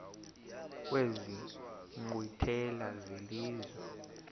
kwezi nkqwithela zelizwe